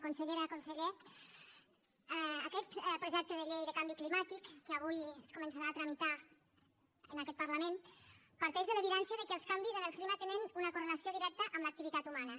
consellera conseller aquest projecte de llei de canvi climàtic que avui es començarà a tramitar en aquest parlament parteix de l’evidència que els canvis en el clima tenen una correlació directa amb l’activitat humana